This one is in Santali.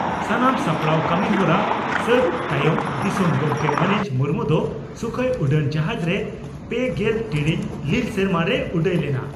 ᱥᱟᱱᱟᱢ ᱥᱟᱯᱲᱟᱣ ᱠᱟᱹᱢᱤᱦᱚᱨᱟ ᱥᱟᱹᱛ ᱛᱟᱭᱚᱢ ᱫᱤᱥᱚᱢ ᱜᱚᱢᱠᱮ ᱢᱟᱹᱱᱤᱡ ᱢᱩᱨᱢᱩ ᱫᱚ ᱥᱩᱠᱷᱚᱭ ᱩᱰᱟᱹᱱ ᱡᱟᱦᱟᱡᱽᱨᱮ ᱯᱮᱜᱮᱞ ᱴᱤᱬᱤᱡ ᱞᱤᱞ ᱥᱮᱨᱢᱟ ᱨᱮᱭ ᱩᱰᱟᱹᱭ ᱞᱮᱱᱟ ᱾